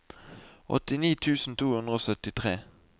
åttini tusen to hundre og syttitre